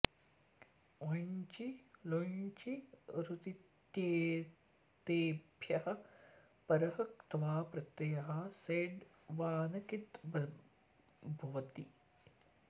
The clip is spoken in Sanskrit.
वञ्चि लुञ्चि ऋतित्येतेभ्यः परः क्त्वा प्रत्ययः सेड् वा न किद् भ्वति